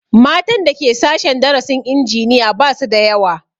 Matan da Ke sashen darasin injiniya ba su da yawa